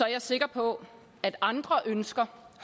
jeg sikker på at andre ønsker